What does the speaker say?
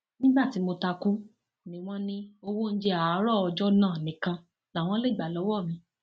nígbà tí mo ta kú ni wọn ní owó oúnjẹ àárọ ọjọ náà nìkan làwọn lè gbà lọwọ mi